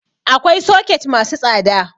Akwai soket masu tsada